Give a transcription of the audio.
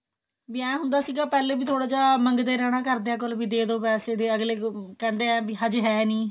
ਵਿਆਹ ਹੁੰਦਾ ਸੀਗਾ ਪਹਿਲੇ ਵੀ ਥੋੜਾ ਜਾ ਮੰਗਦੇ ਰਹਿਣਾ ਘਰਦਿਆ ਕੋਲ ਵੀ ਦੇਦੋ ਪੈਸੇ ਅਗਲੇ ਕਹਿੰਦੇ ਐ ਵੀ ਹਜੇ ਹੈ ਨਹੀਂ